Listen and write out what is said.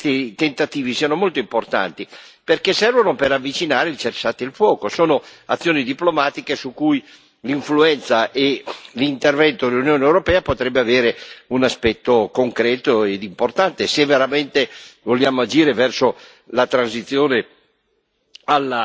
Io penso che questi tentativi siano molto importanti, perché servono per avvicinare il cessate il fuoco, sono azioni diplomatiche su cui l'influenza e l'intervento dell'Unione europea potrebbero avere un aspetto concreto e importante, se veramente vogliamo agire verso la transizione